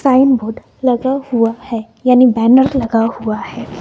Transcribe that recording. Signboard लगा हुआ हैं यानि बैनर लगा हुआ है।